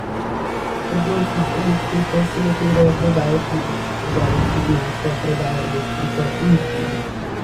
Trgovci z elektriko se lotevajo prodaje plina, trgovec z nafto prodaja elektriko in plin ...